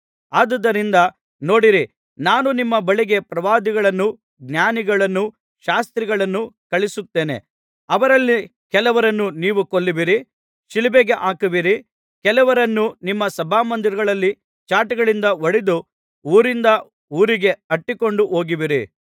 ಆದುದರಿಂದ ನೋಡಿರಿ ನಾನು ನಿಮ್ಮ ಬಳಿಗೆ ಪ್ರವಾದಿಗಳನ್ನೂ ಜ್ಞಾನಿಗಳನ್ನೂ ಶಾಸ್ತ್ರಿಗಳನ್ನೂ ಕಳುಹಿಸುತ್ತೇನೆ ಅವರಲ್ಲಿ ಕೆಲವರನ್ನು ನೀವು ಕೊಲ್ಲುವಿರಿ ಶಿಲುಬೆಗೆ ಹಾಕುವಿರಿ ಕೆಲವರನ್ನು ನಿಮ್ಮ ಸಭಾಮಂದಿರಗಳಲ್ಲಿ ಚಾಟಿಗಳಿಂದ ಹೊಡೆದು ಊರಿಂದ ಊರಿಗೆ ಅಟ್ಟಿಕೊಂಡು ಹೋಗುವಿರಿ